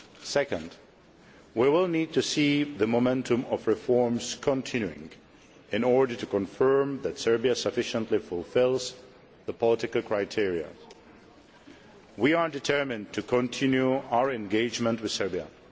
Secondly, we will need to see the momentum of reforms continuing in order to confirm that Serbia sufficiently fulfils the political criteria. We are determined to continue our engagement with Serbia.